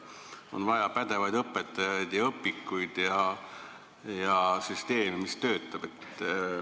On vaja pädevaid õpetajaid ja õpikuid ja süsteemi, mis töötab.